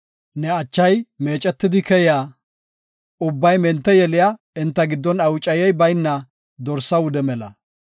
Ne achay meecetidi keyiya, ubbay mente yeliya, enta giddon awucayey bayna dorsa wude mela.